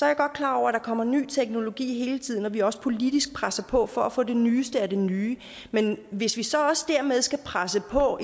jeg godt klar over at der kommer ny teknologi hele tiden og at vi også politisk presser på for at få det nyeste af det nye men hvis vi så også dermed skal presse på